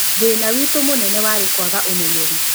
Thĩna witũ mũnene warĩ kwaga ũmenyeri